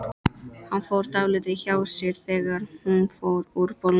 Hann fór dálítið hjá sér þegar hún fór úr bolnum.